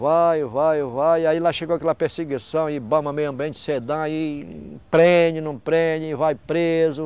Vai, vai, vai, aí lá chegou aquela perseguição e bamba meio ambiente, e prende, não prende, vai preso.